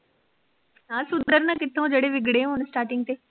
ਨਾ ਸੁਧਰਨਾ ਕਿਥੋਂ ਜੇੜੇ ਵਿਗੜੇ ਹੋਨ starting ਤੇ।